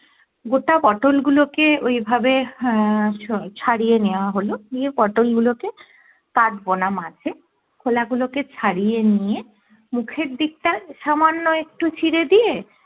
গোটা পটোল গুলোকে ওই ভাবে আহ ছাড়িয়ে নেয়া হলো নিয়ে পটোল গুলোকে কাটবোনা মাঝে খোলা গুলো কে ছাড়িয়ে নিয়ে মুখের দিকটা সামান্য একটু চিরে দিয়ে